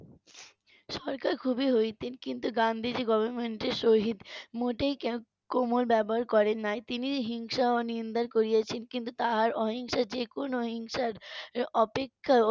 সরকার খুবই হইতেন কিন্তু গান্ধীজি Government এর সহিত মোটেই কোমল ব্যবহার করেন নাই তিনি হিংসা ও নিন্দা করিয়াছেন কিন্তু তাহার অহিংসা যে কোনও হিংসার অপেক্ষা